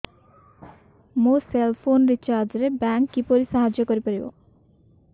ମୋ cell phone recharge ରେ bank କିପରି ସାହାଯ୍ୟ କରିପାରିବ